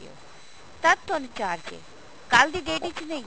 ਤਦ ਤੁਹਾਨੂੰ charge ਹੈ ਕੱਲ ਦੀ date ਵਿੱਚ ਨਹੀਂ